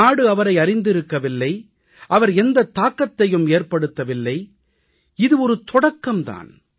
நாடு அவரை அறிந்திருக்கவில்லை அவர் எந்தத் தாக்கத்தையும் ஏற்படுத்தவில்லை இது ஒரு தொடக்கம் தான்